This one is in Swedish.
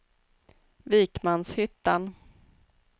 Vikmanshyttan